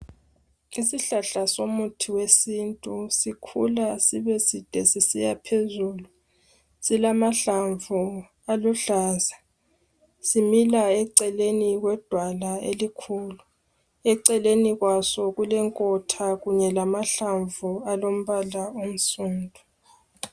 Isihlahla somuthi wesintu, sikhula sibe side sisiya phezulu. Silamahlamvu aluhlaza. Simila eceleni kwedala elikhulu. Eceleni kwaso kulenkotha kunye lamahlamvu alombala onsundu.